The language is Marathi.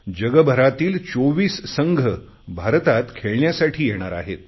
जगभरातील 24 संघ भारतात खेळण्यासाठी येणार आहेत